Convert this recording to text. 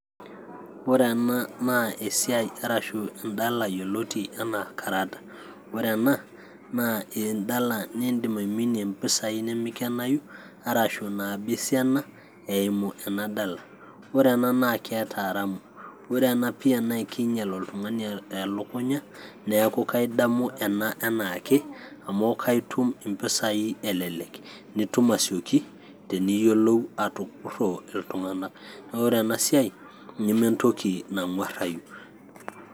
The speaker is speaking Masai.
Ore ena naa esiai arashu endala yioloti anaa karata ore ena naa endala nindim aiminie impisai nemikenayu arashu inaba esiana eimu ena dala ore ena keeta aramu ore ena pia naa ekinyial oltung'ani elukunya niaku kaidamu ena enaake amu kaitum impisai elelek nitum asioki teniyiolou atupurro iltung'anak naa ore ena siai nementoki nang'uarrai.